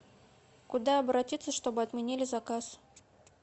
куда обратиться чтобы отменили заказ